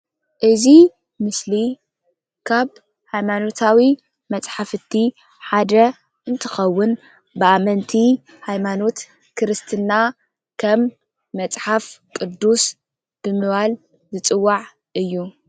እዚ ምስሊ ካብ ሃይማኖታዊ መጽሓፍቲ ሓደ እንትኸውን ብኣመንቲ ሃይማኖት ክርስትና ከም መጽሓፍ ቅዱስ ብምባል ዝፅዋዕ እዩ።